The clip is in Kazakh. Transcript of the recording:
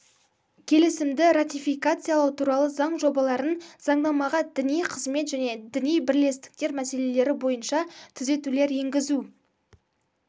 келісімді ратификациялау туралы заң жобаларын заңнамаға діни қызмет және діни бірлестіктер мәселелері бойынша түзетулер енгізу